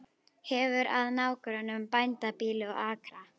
Hefur að nágrönnum bændabýli og akra.